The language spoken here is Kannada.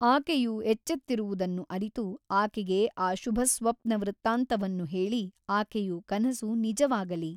ಆಕೆಯು ಎಚ್ಚೆತ್ತಿರುವುದನ್ನು ಅರಿತು ಆಕೆಗೆ ಆ ಶುಭಸ್ವಪ್ನವೃತ್ತಾಂತವನ್ನು ಹೇಳಿ ಆಕೆಯು ಕನಸು ನಿಜವಾಗಲಿ.